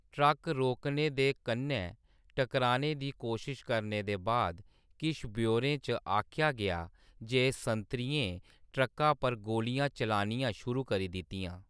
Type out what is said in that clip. Truck रोकने ते कन्नै टकराने दी कोशश करने दे बाद, किश ब्यौरें च आखेआ गेआ जे संतरियें ट्रक्का पर गोलियां चलानियां शुरू करी दित्तियां।